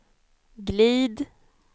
glid